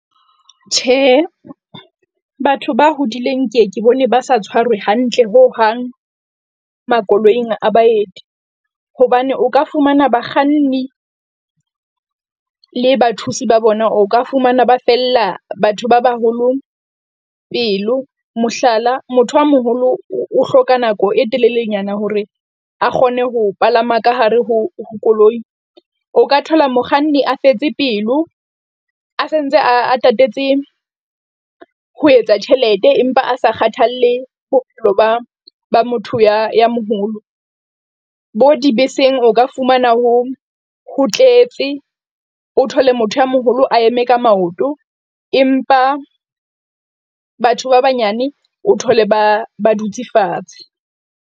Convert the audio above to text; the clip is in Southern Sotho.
Tjhe, batho ba hodileng ke ke bone ba sa tshwarwe hantle ho hang makoloing a baeti hobane o ka fumana bakganni le bathusi ba bona, o ka fumana ba fella batho ba baholo pelo. Mohlala, motho a moholo o hloka nako e telelenyana hore a kgone ho palama ka hare ho koloi. O ka thola mokganni, a fetse pelo a santse a tatetse ho etsa tjhelete, empa a sa kgathalle bophelo ba ba motho ya moholo. Bo dibeseng o ka fumana ho, ho tletse o thole motho ya moholo a eme ka maoto, empa batho ba banyane o thole ba ba dutse fatshe.